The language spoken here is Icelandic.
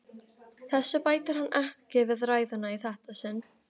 Þessu bætir hann ekki við ræðuna í þetta sinn.